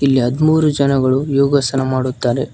ಇಲ್ಲಿ ಹದಿಮೂರು ಜನಗಳು ಯೋಗಾಸನ ಮಾಡುತ್ತಾರೆ.